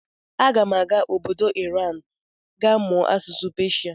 Aga m aga obodo Iran ga mụọ asụsụ Peshia.